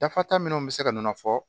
Dafa ta minnu bɛ se ka nɔnɔ fɔ